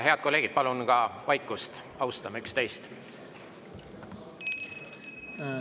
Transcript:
Head kolleegid, palun vaikust, austame üksteist!